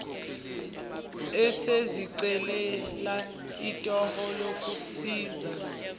esezicelela itoho lokusiza